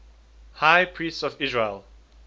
high priests of israel